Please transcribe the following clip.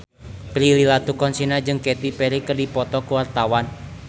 Prilly Latuconsina jeung Katy Perry keur dipoto ku wartawan